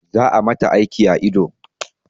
Za a mata aiki a ido